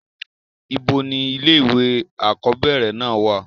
ibo ni ilé ìwé àkọ́bẹ̀rẹ̀ náà wà?